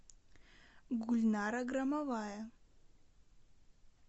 гульнара громовая